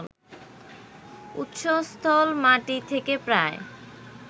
উৎসস্থল মাটি থেকে প্রায়